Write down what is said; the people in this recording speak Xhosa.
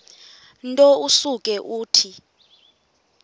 nto usuke uthi